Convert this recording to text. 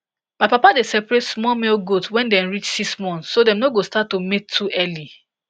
my papa dey separate small male goat when dem reach six months so dem no go start to mate too early